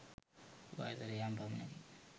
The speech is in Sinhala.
වයසට යෑම පමණකි.